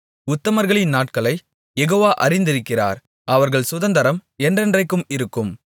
உத்தமர்களின் நாட்களைக் யெகோவா அறிந்திருக்கிறார் அவர்கள் சுதந்தரம் என்றென்றைக்கும் இருக்கும்